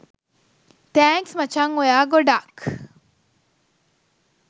thanks මචං ඔයා ගොඩාක්